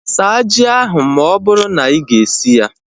Saa ji ahu ma ọ bụrụ na iga esi ya!